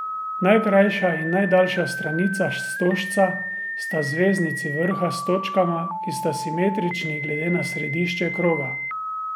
Najkrajša in najdaljša stranica stožca sta zveznici vrha s točkama, ki sta simetrični glede na središče kroga.